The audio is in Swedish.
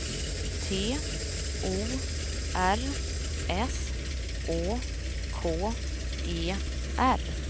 T O R S Å K E R